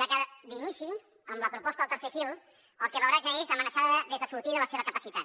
ja que d’inici amb la proposta del tercer fil el que veurà ja és amenaçada des de sortida la seva capacitat